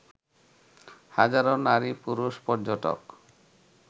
হাজারো নারী-পুরুষ পর্যটক